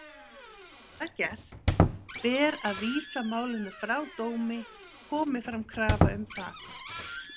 Sé það gert ber að vísa málinu frá dómi, komi fram krafa um það.